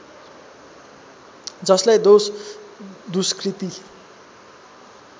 जसलाई दोष दुष्कृति